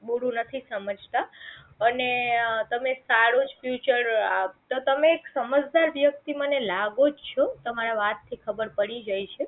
બૂરું નથી સમજતા અને તમે સારો જ ફ્યુચર આપતા તમે સમજદાર વ્યક્તિ મને લાગો છો તમારા વાત થી ખબર પડી જાય છે